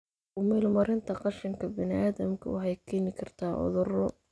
Ku meel marinta qashinka bini'aadamka waxay keeni kartaa cuduro.